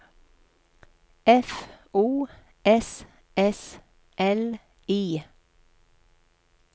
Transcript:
F O S S L I